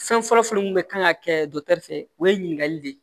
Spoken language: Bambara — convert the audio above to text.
Fɛn fɔlɔ fɔlɔ min bɛ kan ka kɛ fɛ o ye ɲininkali de ye